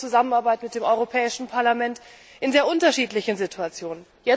Sie kennen die Zusammenarbeit mit dem Europäischen Parlament in sehr unterschiedlichen Situationen.